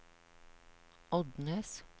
Odnes